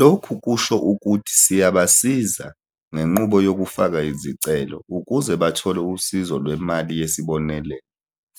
Lokhu kusho ukuthi siyabasiza ngenqubo yokufaka izicelo ukuze bathole usizo lwemali yesi bonelelo